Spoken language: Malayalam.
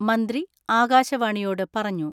മന്ത്രി ആകാശവാണിയോട് പറഞ്ഞു.